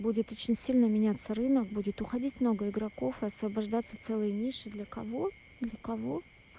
будет очень сильно меняться рынок будет уходить много игроков освобождаться целый ниши для кого для кого